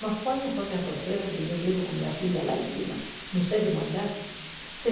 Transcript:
Mas qual não foi minha surpresa, que eu chego com minha filha lá em cima, no sétimo andar.